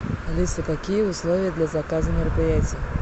алиса какие условия для заказа мероприятий